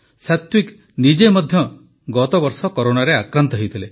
ସାତ୍ୱିକ ନିଜେ ମଧ୍ୟ ଗତବର୍ଷ କରୋନାରେ ଆକ୍ରାନ୍ତ ହୋଇଥିଲେ